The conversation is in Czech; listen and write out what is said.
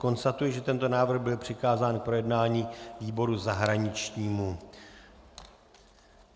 Konstatuji, že tento návrh byl přikázán k projednání výboru zahraničnímu.